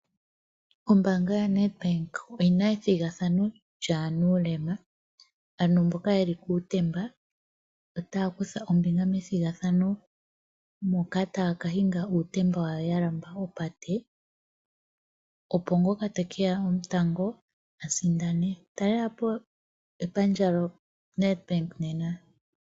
Ombaanga yoNedbank oyina ethigathano lyanuulema. Aantu mboka yeli kuutemba otaya kutha ombinga methigathano moka taya ka hinga uutemba wawo yalandula opate, opo ngoka tekeya gwotango a sindane, talelapo epandja yoNedbank nena.